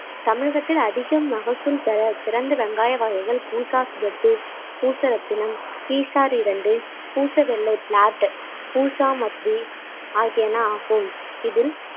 தமிழகத்தில் அதிகம் மகசூல் பெற சிறந்த வெங்காய வகைகள் பூசா சிவப்பு, பூசரத்தினம், ஈஷா இரண்டு பூசவெல்லி plat பூசாமத்தி ஆகியன ஆகும் இதில்